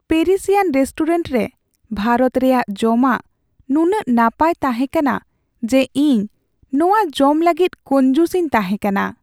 Persian restaurant ᱨᱮ ᱵᱷᱟᱨᱚᱛ ᱨᱮᱭᱟᱜ ᱡᱚᱢᱟᱜ ᱱᱩᱱᱟᱹᱜ ᱱᱟᱯᱟᱭ ᱛᱟᱦᱮᱸ ᱠᱟᱱᱟ ᱡᱮ ᱤᱧ ᱱᱚᱶᱟ ᱡᱚᱢ ᱞᱟᱹᱜᱤᱫ ᱠᱚᱧᱡᱩᱥ ᱤᱧ ᱛᱟᱦᱮᱸ ᱠᱟᱱᱟ ᱾